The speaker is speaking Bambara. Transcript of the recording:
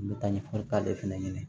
N bɛ taa ɲɛfɔli k'ale fana ye